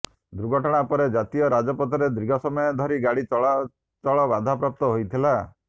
ଦୁର୍ଘଟଣା ପରେ ଜାତୀୟ ରାଜପଥରେ ଦୀର୍ଘସମୟ ଧରି ଗାଡି ଚଳାଚଳ ବାଧାପ୍ରାପ୍ତ ହୋଇଥିଲା